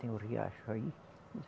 Tem o riacho aí.